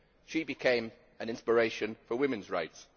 She became an inspiration for women's rights.